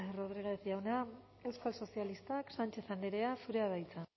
rodriguez jauna euskal sozialistak sánchez andrea zurea da hitza